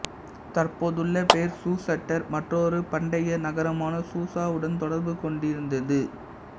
தற்போதுள்ள பெயர் சூசட்டர் மற்றொரு பண்டைய நகரமான சூசா உடன் தொர்பு கொண்டிருந்தது